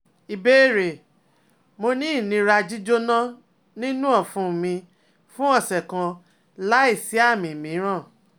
Ìbéèrè: Mo ni inira jíjona ninu ọfun mi fun ọsẹ kan lai si aami miiran